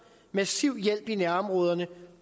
massiv hjælp i nærområderne